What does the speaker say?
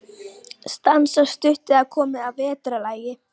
Stansað stutt eða komið að vetrarlagi.